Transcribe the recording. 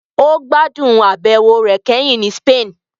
Ó gbádùn àbẹ̀wò rẹ̀ kẹ́hìn sí Spain